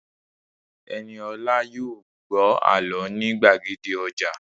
Ẹniolá yóò gbọ́ àlọ́ ní gbàgede ọjà